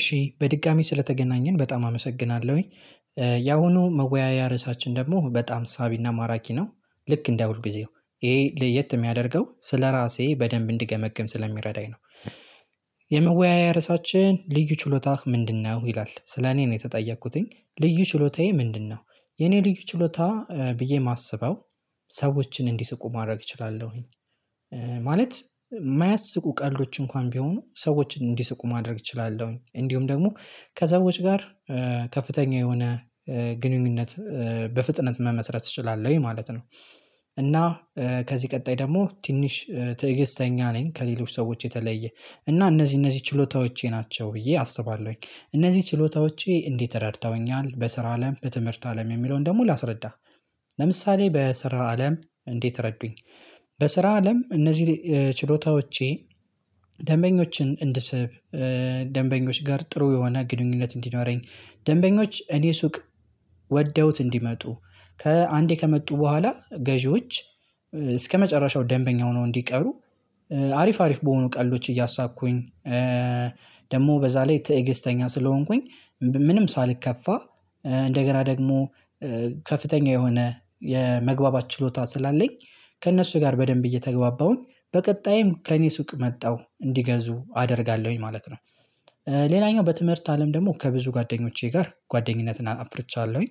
እሺ በድጋሚ ስለተገናኘን በጣም አመሰግናለሁኝ። ያሁኑ መወያያ ርዕሳችን ደግሞ በጣም ሳቢና ማራኪ ነው። ልክ እንደ ሁልጊዜው ይሄ ለየት የሚያደርገው ስለራሴ በደንብ እንድገመግም ስለሚረዳኝ ነው። የመወያያ ርዕሳችን ልዩ ችሎታህ ምንድነው? ይላል ስለኔ ነው የተጠየኩትኝ ልዩ ችሎታዬ ምንድነው? የኔ ልዩ ችሎታ ብዬ የማስበው ሰዎችን እንዲስቁ ማድረግ እችላለሁኝ። ማለት የማያስቁ ቀልዶች እንኳን ቢሆኑ ሰዎችን እንዲሰቁ ማድረግ እችላለሁኝ እንዲሁም ደግሞ ከሰዎች ጋር ከፍተኛ የሆነ ግንኙነት በፍጥነት መመስረት እችላለሁ ማለት ነው። እና ከዚህ ቀጣይ ደግሞ ትንሽ ትዕግስተኛ ነኝ ከሌሎች ሰዎች የተለየ እና እነዚህ እነዚህ ችሎታዎቼ ናቸው ብዬ አስባለሁኝ። እነዚህ ችሎታዎቼ እንዴት ረድተውኛል በስራ አለም በትምህርት አለም የሚለውን ደግሞ ላስረዳ። ለምሳሌ በስራ አለም እንዴት ረዱኝ። በስራ አለም እነዚህ ችሎታዎቼ ደንበኞችን እንድስብ ደንበኞች ጋር ጥሩ የሆነ ግንኙነት እንዲኖረኝ ደንበኞች እኔ ሱቅ ወደውት እንዲመጡ ከአንዴ ከመጡ በኋላ ገዢዎች እስከመጨረሻው ደንበኛ ሆነው እንዲቀሩ። አሪፍ አሪፍ በሆኑ ቀልዶች እያሳኩኝ። ደግሞ በዛ ላይ ትእግስተኛ ስለሆንኩኝ ምንም ሳልከፋ እንደገና ደግሞ ከፍተኛ የሆነ የመግባባት ችሎታ ስላለኝ ከእነሱ ጋር በደንብ እየተግባባሁኝ በቀጣይም ከእኔ ሱቅ መጠው እንዲገዙ አደርጋለሁኝ ማለት ነው። ሌላኛው በትምህርት አለም ደግሞ ከብዙ ጓደኞቼ ጋር ጓደኝነትን አፍርቻለሁኝ።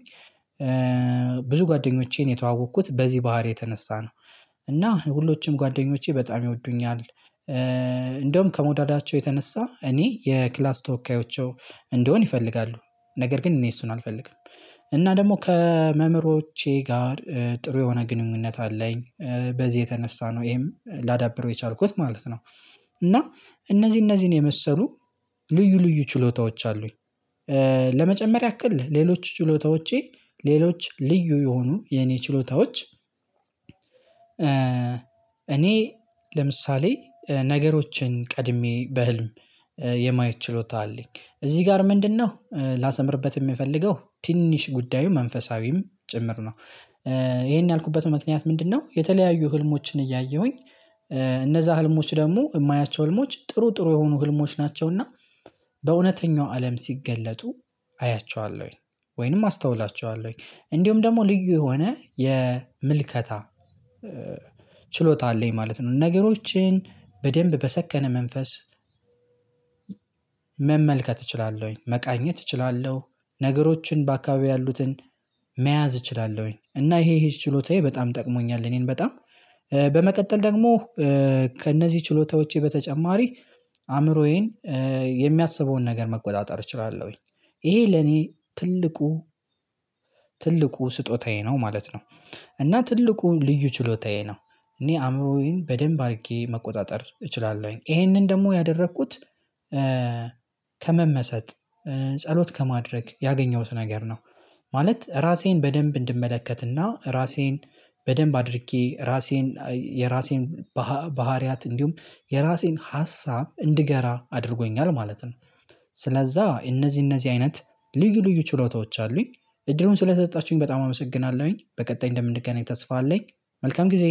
ብዙ ጓደኞቼን የተዋወቅኩት በዚህ ባህሪ የተነሳ ነው። እና ሁሎችም ጓደኞቼ በጣም ይወዱኛል። እንደውም ከመውደዳቸው የተነሳ እኔ የክላስ ተወካዮቸው እንደሆን ይፈልጋሉ። ነገር ግን እኔ እሱን አልፈልግም። እና ደግሞ ከመምህሮቼ ጋር ጥሩ የሆነ ግንኙነት አለኝ በዚህ የተነሳ ነው ይሄም ላዳብረው የቻልኩት ማለት ነው። እና እነዚህ እነዚህን የመሰሉ ልዩ ልዩ ችሎታዎች አሉኝ። ለመጨመር ያክል ሌሎች ችሎታዎቼ ሌሎች ልዩ የሆኑ የኔ ችሎታዎች እኔ ለምሳሌ ነገሮችን ቀድሜ በህልም የማየት ችሎታ አለኝ። እዚህ ጋር ምንድነው ላሰምርበት? የምፈልገው ትንሽ ጉዳዩ መንፈሳዊም ጭምር ነው። ይሄን ያልኩበት ምክንያት ምንድነው? የተለያዩ ህልሞችን እያየሁኝ እነዛ ህልሞች ደግሞ የማያቸው ህልሞች ጥሩ ጥሩ የሆኑ ህልሞች ናቸው። እና በእውነተኛው አለም ሲገለጡ አያቸዋለሁኝ። ወይንም አስተውላቸዋለሁኝ እንዲሁም ደግሞ ልዩ የሆነ የምልከታ ችሎታ አለኝ ማለት ነው። ነገሮችን በደንብ በሰከነ መንፈስ መመልከት እችላለሁኝ መቃኘት እችላለሁ። ነገሮችን በአካባቢው ያሉትን መያዝ እችላለሁኝ እና ይሄ ይሄ ችሎታዬ በጣም ጠቅሞኛል። እኔን በጣም በመቀጠል ደግሞ ከእነዚህ ችሎታዎቼ በተጨማሪ አእምሮዬን የሚያስበውን ነገር መቆጣጠር እችላለሁኝ። ይሄ ለኔ ትልቁ ትልቁ ስጦታዬ ነው ማለት ነው። እና ትልቁ ልዩ ችሎታዬ ነው። እኔ አእምሮዬን በደንብ አድርጌ መቆጣጠር እችላለሁኝ ይሄንን ደግሞ ያደረኩት ከመመሰጥ ጸሎት ከማድረግ ያገኘሁት ነገር ነው። ማለት ራሴን በደንብ እንድመለከትና ራሴን በደንብ አድርጌ ራሴን የራሴን ባህሪያት እንዲሁም የራሴን ሀሳብ እንድገራ አድርጎኛል ማለት ነው። ስለዛ እነዚህ እነዚህ አይነት ልዩ ልዩ ችሎታዎች አሉኝ። እድሉን ስለሰጣችሁኝ በጣም አመሰግናለሁኝ በቀጣይ እንደምንገናኝ ተስፋ አለኝ። መልካም ጊዜ።